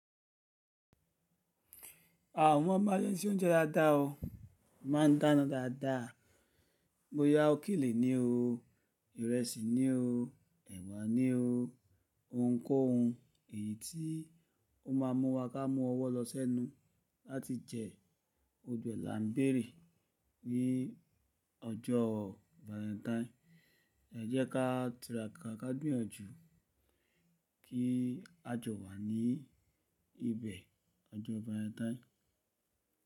À mo mo bi a se n se ounje dáadáa ọ máa ń dáná dáadáa. Boyà, ókèlè ni o, ìrẹsì ni o, ẹ̀wà ni o, ohunkóhun èyí tí ó máa mú wa ká mú ọwọ́ lọ sẹ́nu láti jẹ gbogbo ẹ̀ là ń bèrè ní ọjọ́ Valentine. Ẹ jẹ́ ká tìràkà ká gbìyànjú kí a jọ wà ní ibẹ̀ ọjọ́ Valentine.